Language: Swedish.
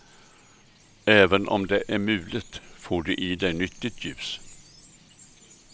Även om det är mulet får du i dig nyttigt ljus.